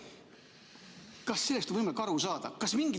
Kas sellest on võimalik aru saada?